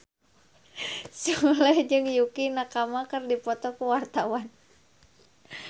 Sule jeung Yukie Nakama keur dipoto ku wartawan